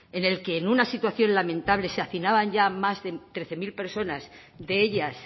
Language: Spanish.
en el que en una situación lamentable se hacinaban ya más de trece mil personas de ellas